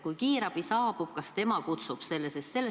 Kui kiirabi saabub, kas tema kutsub selle?